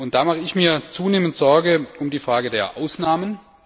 Da mache ich mir zunehmend Sorge um die Frage der Ausnahmen.